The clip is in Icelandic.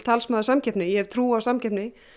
talsmaður samkeppni ég hef trú á samkeppni